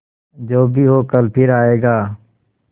जो भी हो कल फिर आएगा